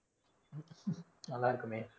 நல்லா இருக்குமே.